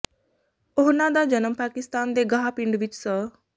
ਉਹਨਾਂ ਦਾ ਜਨਮ ਪਾਕਿਸਤਾਨ ਦੇ ਗਾਹ ਪਿੰਡ ਵਿੱਚ ਸ